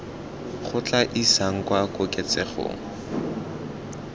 go tla isang kwa koketsegong